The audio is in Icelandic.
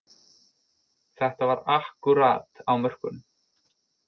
Þetta var akkúrat á mörkunum